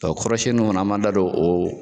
kɔrɔsiyɛnniw fana an b'a da don o